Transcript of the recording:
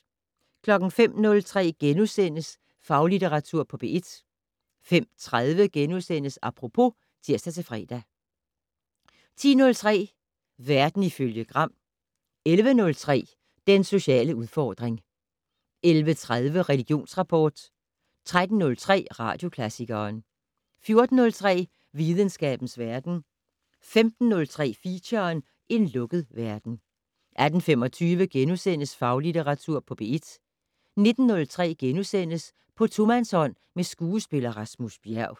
05:03: Faglitteratur på P1 * 05:30: Apropos *(tir-fre) 10:03: Verden ifølge Gram 11:03: Den sociale udfordring 11:30: Religionsrapport 13:03: Radioklassikeren 14:03: Videnskabens verden 15:03: Feature: En lukket verden 18:25: Faglitteratur på P1 * 19:03: På tomandshånd med skuespiller Rasmus Bjerg *